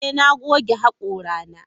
Ee, na goge hakorana.